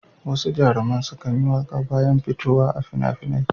Wasu jaruman sukan yi waƙa bayan fitowa a fina-finai.